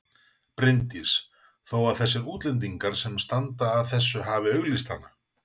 Bryndís: Þó að þessir útlendingar sem standa að þessu hafi auglýst hana?